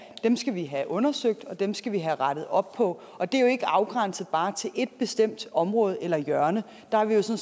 dem skal vi have undersøgt og dem skal vi have rettet op på og det er jo ikke bare afgrænset til et bestemt område eller hjørne der har vi jo